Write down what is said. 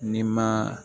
Ni ma